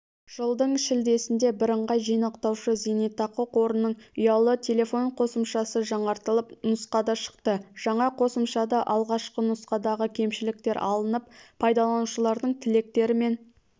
жылдың шілдесінде бірыңғай жинақтаушы зейнетақы қорының ұялы телефон қосымшасы жаңартылып нұсқада шықты жаңа қосымшада алғашқы нұсқадағы кемшіліктер алынып пайдаланушылардың тілектері мен